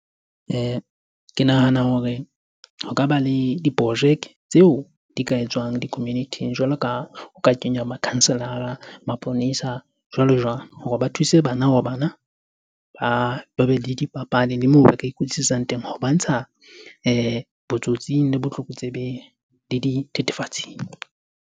Ke nahana hore ho ka ba le diprojeke tseo di ka etswang di-community-ing jwalo ka o ka kenya makhanselara, maponesa jwalo jwalo. Hore ba thuse bana bana ba ba be le dipapadi le moo ba ka ikwetlisetsang teng. Ho ba ntsha botsotsing le botlokotsebeng le dithethefatsing.